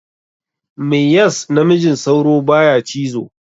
Me yas namijin sauro baya cizo?